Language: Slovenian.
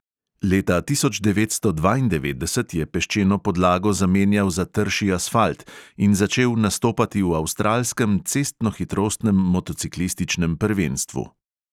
Leta tisoč devetsto dvaindevetdeset je peščeno podlago zamenjal za trši asfalt in začel nastopati v avstralskem cestnohitrostnem motociklističnem prvenstvu.